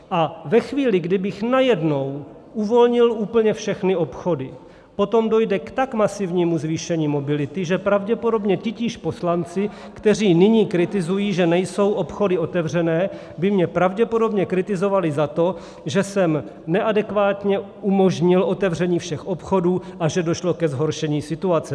A ve chvíli, kdybych najednou uvolnil úplně všechny obchody, potom dojde k tak masivnímu zvýšení mobility, že pravděpodobně titíž poslanci, kteří nyní kritizují, že nejsou obchody otevřené, by mě pravděpodobně kritizovali za to, že jsem neadekvátně umožnil otevření všech obchodů a že došlo ke zhoršení situace.